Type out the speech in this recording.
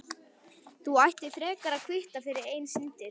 Þú ættir frekar að kvitta fyrir eigin syndir.